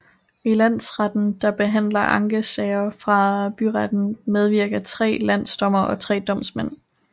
I landsretten der behandler ankesager fra byretten medvirker tre landsdommere og tre domsmænd